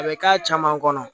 A bɛ k'a caman kɔnɔ